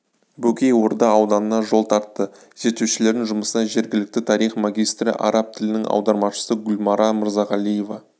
бөкей орда ауданына жол тартты зерттеушілердің жұмысына жергілікті тарих магистры араб тілінің аудармашысы гүлмара мырзағалиева